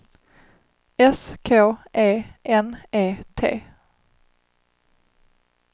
S K E N E T